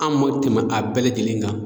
An ma tɛmɛ a bɛɛ lajɛlen na.